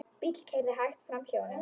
Bíll keyrði hægt framhjá honum.